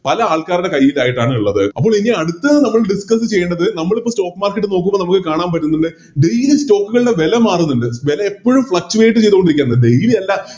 പല ആൾക്കാരുടെ കൈയിലായിട്ടാണുള്ളത് അപ്പോളിനി അടുത്തത് നമ്മൾ Discuss ചെയ്യേണ്ടത് നമ്മളിപ്പോ Stock market നോക്കുമ്പോ നമ്മക്ക് കാണാൻ പറ്റുന്നിണ്ട് Daily stock കളുടെ വെല മാറുന്നുണ്ട് വെല എപ്പോഴും Fluctuate ചെയ്തോണ്ടിരിക്കാണ്